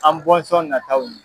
An bɔnsɔn nataw ye.